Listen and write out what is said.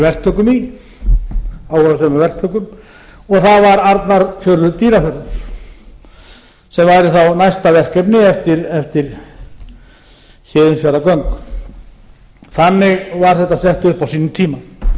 verktökum í áhugasömum verktökum og það var arnarfjörður dýrafjörður sem væri þá næst verkefni eftir héðinsfjarðargöng þannig var þetta sett upp á sínum tíma tillaga